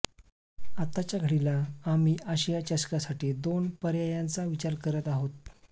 आताच्याघडीला आम्ही आशिया चषकासाठी दोन पर्यायांचा विचार करत आहोत